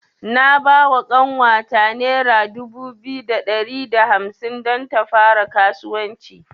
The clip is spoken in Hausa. Na bawa ƙanwata nera dubu biyu da ɗari da hamsin don ta fara kasuwanci.